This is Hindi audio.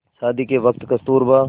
शादी के वक़्त कस्तूरबा